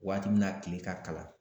Waati min na tile ka kalan